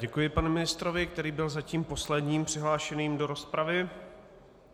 Děkuji panu ministrovi, který byl zatím posledním přihlášeným do rozpravy.